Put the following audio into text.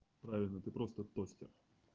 правильно ты просто тостер